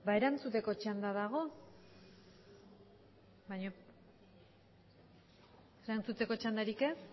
erantzuteko txanda dago erantzuteko txandarik ez